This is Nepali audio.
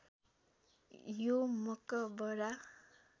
यो मकबरा